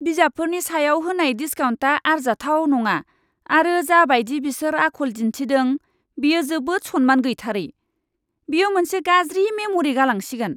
बिजाबफोरनि सायाव होनाय डिस्काउन्टा आरजाथाव नङा आरो जाबायदि बिसोर आखल दिन्थिदों बेयो जोबोद सन्मान गैथारै। बेयो मोनसे गाज्रि मेमरि गालांसिगोन।